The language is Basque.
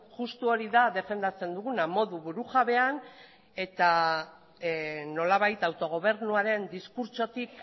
justu hori da defendatzen duguna modu burujabean eta nolabait autogobernuaren diskurtsotik